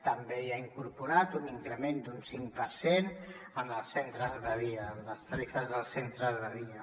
també hi ha incorporat un increment d’un cinc per cent en els centres de dia en les tarifes dels centres de dia